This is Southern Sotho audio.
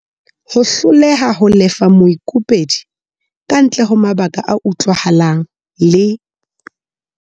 Ho hloleha ho lefa moikopedi kantle ho mabaka a utlwahalang le.